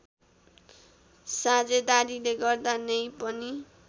साझेदारीले गर्दा नै पनि